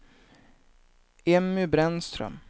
Emmy Brännström